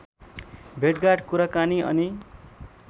भेटघाट कुराकानी अनि